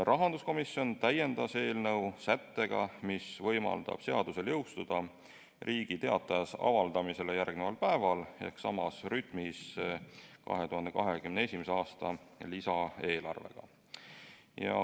Rahanduskomisjon täiendas eelnõu sättega, mis võimaldab seadusel jõustuda Riigi Teatajas avaldamisele järgneval päeval ehk samas rütmis 2021. aasta lisaeelarvega.